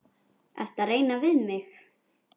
Ertu að reyna við mig?